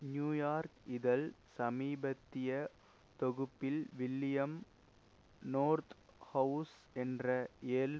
New York இதழ் சமீபத்திய தொகுப்பில் வில்லியம் நோர்த்ஹவுஸ் என்ற ஏல்